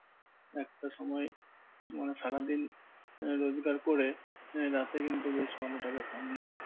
একটা সময়ে মানে সারাদিন আহ রোজগার করে রাতে কিন্তু বেশ ভালো টাকা কামিয়েই নেয়।